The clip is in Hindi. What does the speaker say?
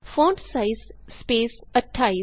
font size space 28